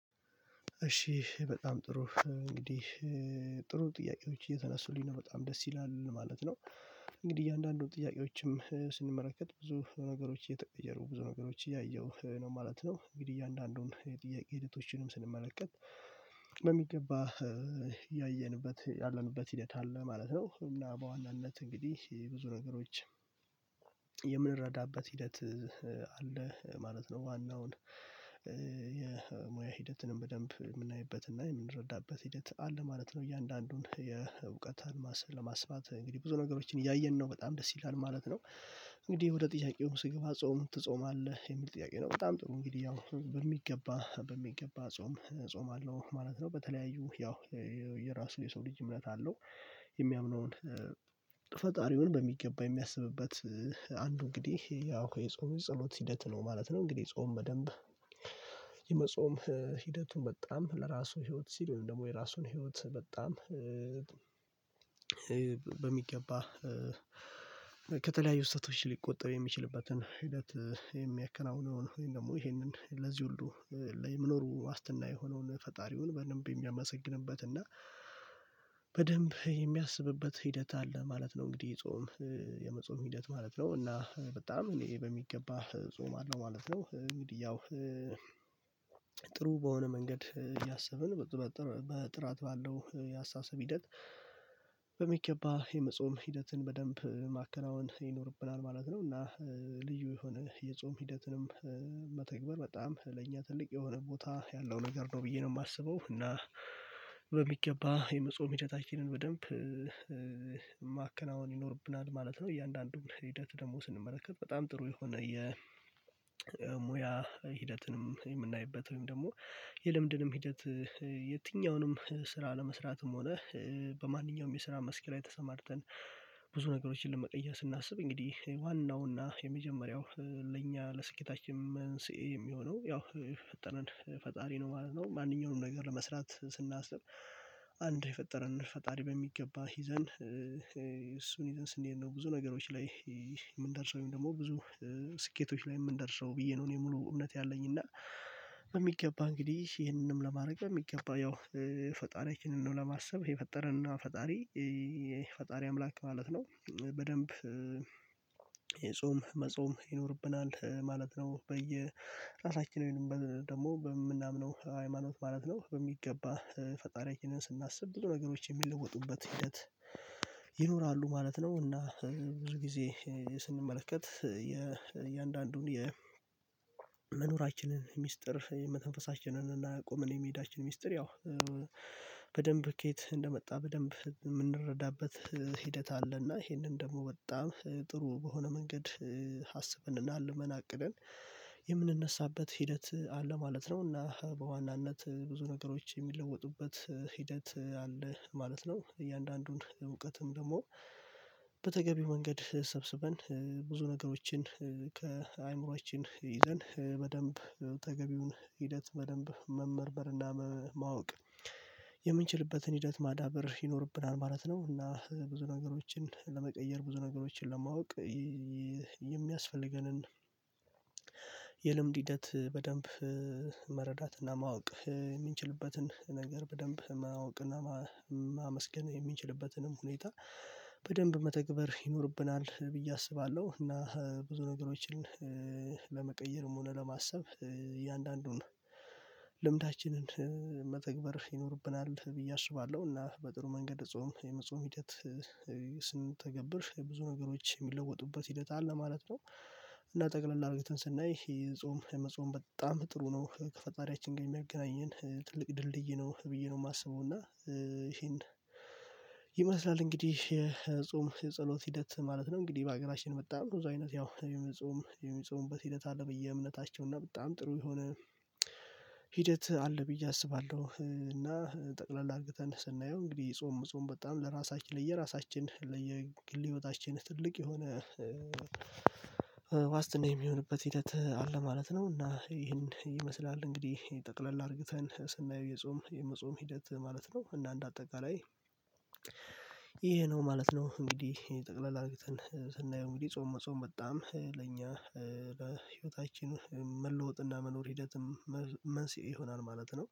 እሺ በጣም ጥሩ እንግዲህ ጥሩ ጥያቄዎች እየተነሱልኝ ነው በጣም ደስ ይላል ማለት ነው። እንግዲህ እያንዳንዱን ጥያቄዎችም ስንመለከት ብዙ ነገሮች እየተቀየሩ ብዙ ነገሮች እያየሁ ነው ማለት ነው እንግዲህ እያንዳንዱን የጥያቄ ኤዲቶችንም ስንመለከት በሚገባ ያየንበት ያለንበት ሂደት አለ ማለት ነው። እና በዋናነት እንግዲህ ብዙ ነገሮች የምንረዳበት ሂደት አለ ማለት ነው ዋናውን ሂደትንም በደንብ የምናይበትና የምንረዳበት ሂደት አለ ማለት ነው። እያንዳንዱን የእውቀታን ማሰል ለማስፋት እንግዲህ ብዙ ነገሮችን እያየን ነው በጣም ደስ ይላል ማለት ነው። እንግዲህ ወደ ጥያቄው ስገባ ጾም ትጾማለህ የሚል ጥያቄ ነው? በጣም ጥሩ እንግዲህ አሁን በሚገባ በሚገባ ጾም እጾማለሁ ማለት ነው። በተለያዩ ያው የየራሱ የሰው ልጅ እምነት አለው የሚያምነውን ፈጣሪውን በሚገባ የሚያስብበት አንዱ እንግዲህ ያው የጾም ጸሎት ሂደት ነው ማለት ነው። እንግዲህ ጾም በደንብ የመጾም ሂደቱን በጣም ለራሱ ህይወት ሲሉ ደግሞ የራሱን ህይወት በጣም በሚገባ ከተለያዩ ስህተቶች ሊቆጠብ የሚችልበትን ሂደት የሚያከናውነውን ወይም ደግሞ ይሄንን ለዚህ ሁሉ የመኖሩ ዋስትና የሆነውን ፈጣሪውን በንብ የሚያመሰግንበት እና በደንብ የሚያስብበት ሂደት አለ ማለት ነው። እንግዲህ የጾም የመጾም ሂደት ማለት ነው እና በጣም እኔ በሚገባ እጾማለሁ ማለት ነው። እንግዲህ ያው በሆነ መንገድ ያሰብን በጥራት ባለው የአስተሳሰብ ሂደት በሚገባ የመጾም ሂደትን በደንብ ማከናወን ይኖርብናል ማለት ነው። እና ልዩ የሆነ የጾም ሂደትንም መተግበር በጣም ለእኛ ትልቅ የሆነ ቦታ ያለው ነው ነገር ነው ብዬ ነው የማስበው እና በሚገባ የመጾም ሂደታችንን በደንብ ማከናወን ይኖርብናል ማለት ነው። እያንዳንዱን ሂደት ደግሞ ስንመለከት በጣም ጥሩ የሆነ የሙያ ሂደትንም የምናይበት ወይም ደግሞ የልምድንም ሂደት የትኛውንም ስራ ለመስራትም ሆነ በማንኛውም የስራ መስክ ላይ ተሰማርተን ብዙ ነገሮችን ለመቀየር ስናስብ እንግዲህ ዋናውና የመጀመሪያው ለእኛ ለስኬታችን መንስኤ የሚሆነው ያው ፈጣሪ ነው ማለት ነው። ማንኛውንም ነገር ለመስራት ስናስብ አንድ የፈጠረን ፈጣሪ በሚገባ ሂዘን እሱን ይዘን ስንሄድ ነው ብዙ ነገሮች ላይ የምንደርሰው ወይም ደግሞ ብዙ ስኬቶች ላይ የምንደርሰው ብዬ ነው እኔ ሙሉ እውነት ያለኝ እና በሚገባ እንግዲህ ይሄንንም ለማድረግ በሚገባ ያው ፈጣሪያችንን ለማሰብ የፈጠረና ፈጣሪ ፈጣሪ አምላክ ማለት ነው በደንብ የጾም መጾም ይኖርብናል ማለት ነው። በየራሳችንን ደግሞ በምናምነው ሃይማኖት ማለት ነው በሚገባ ፈጣሪያችንን ስናስብ ብዙ ነገሮች የሚለወጡበት ሂደት ይኖራሉ ማለት ነው። እና ብዙ ጊዜ ስንመለከት የእያንዳንዱን የመኖራችንን ሚስጥር መተንፈሳችንንና እና ቆመን የመሄዳችን ሚስጥር ያው በደንብ ከየት እንደመጣ በደንብ የምንረዳበት ሂደት አለና ይሄንን ደግሞ በጣም ጥሩ በሆነ መንገድ አስበንና አልመን አቅደን የምንነሳበት ሂደት አለ ማለት ነው እና በዋናነት ብዙ ነገሮች የሚለወጡበት ሂደት አለ ማለት ነው። እያንዳንዱን እውቀትም ደግሞ በተገቢው መንገድ ሰብስበን ብዙ ነገሮችን ከአእምሮአችን ይዘን በደንብ ተገቢውን ሂደት በደንብ መመርመር እና ማወቅ የምንችልበትን ሂደት ማዳበር ይኖርብናል ማለት ነው። እና ብዙ ነገሮችን ለመቀየር ብዙ ነገሮችን ለማወቅ የሚያስፈልገንን የልምድ ሂደት በደንብ መረዳትና ማወቅ የምንችልበትን ነገር በደንብ ማወቅ እና ማመስገን የሚችልበትንም ሁኔታ በደንብ መተግበር ይኖርብናል ብዬ አስባለሁ እና ብዙ ነገሮችን ለመቀየርም ሆነ ለማሰብ እያንዳንዱን ልምዳችንን መተግበር ይኖርብናል ብዬ አስባለሁ። እና በጥሩ መንገድ ጾም የመጾም ሂደት ስንተገብር ብዙ ነገሮች የሚለወጡበት ሂደት አለ ማለት ነው። እና ጠቅለል አድርገን ስናይ የጾም የመጾም በጣም ጥሩ ነው ከፈጣሪያችን ጋር የሚያገናኝን ትልቅ ድልድይ ነው ብዬ ነው የማስበው እና ይሄን ይመስላል እንግዲህ የጾም የጸሎት ሂደት ማለት ነው። እንግዲህ በአገራችን መጣ አይነት ያው የሚጾም የሚጾምበት ሂደት አለ ብዬ እምነታቸውና በጣም ጥሩ የሆነ ሂደት አለ ብዬ አስባለሁ እና ጠቅለል አድርግተን ስናየው እንግዲህ ጾም ጾም በጣም ለራሳችን ለየራሳችን ለየግል ህይወታችን ትልቅ የሆነ ዋስትና የሚሆንበት ሂደት አለ ማለት ነው። እና ይሄን ይመስላል እንግዲህ ጠቅለል አድርግተን ስናየው የጾም የመጾም ሂደት ማለት ነው እና እንደአጠቃላይ ይሄ ነው ማለት ነው። እንግዲህ ጠቅለል አድርግተን ስናየው እንግዲህ ጾም መጾም በጣም ለእኛ ለህይወታችን መለወጥና መኖር ሂደትም መንስኤ ይሆናል ማለት ነው